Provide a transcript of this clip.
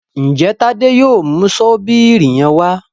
Njé Tade yóò mú Ṣọ́bìrì yén wá?